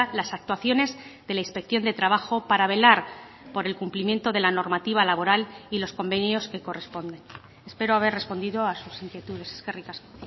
las actuaciones de la inspección de trabajo para velar por el cumplimiento de la normativa laboral y los convenios que corresponden espero haber respondido a sus inquietudes eskerrik asko